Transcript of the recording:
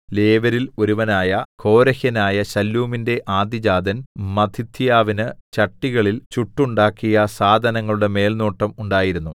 ലേവ്യരിൽ ഒരുവനായ കോരഹ്യനായ ശല്ലൂമിന്റെ ആദ്യജാതൻ മത്ഥിഥ്യാവിന് ചട്ടികളിൽ ചുട്ടുണ്ടാക്കിയ സാധനങ്ങളുടെ മേൽനോട്ടം ഉണ്ടായിരുന്നു